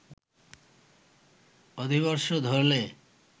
অধিবর্ষ ধরলে